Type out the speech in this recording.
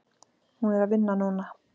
Hún er að vinna núna.